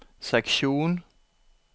seksjon